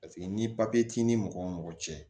Paseke ni t'i ni mɔgɔ mɔgɔ cɛ